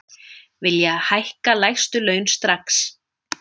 Vilja hækka lægstu laun strax